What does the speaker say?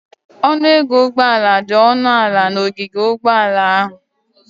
Ọnụ ego ụgbọala dị ọnụ ala n'ogige ụgbọala ahụ.